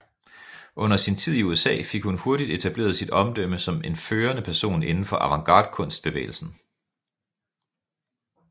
Under sin tid i USA fik hun hurtigt etableret sit omdømme som en førende person indenfor Avantgardekunst bevægelsen